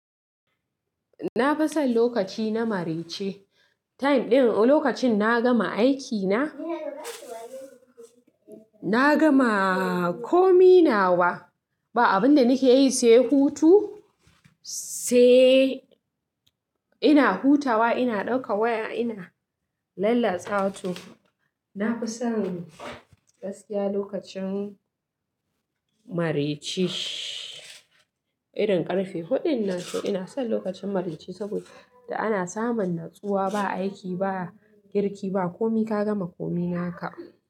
Na fi son lokaci na marece. Time ɗin, lokacin na gama aiki na, na gama komi nawa. Ba abin da nake yi sai hutu, sai ina hutawa, ina ɗauka waya ina lallasawa to. Na fi son gaskiya lokacin marece irin ƙarfe huɗun na sau ina son lokacin marece saboda da ana samun natsuwa ba aiki ba, girki ba, komi ka gama komi naka.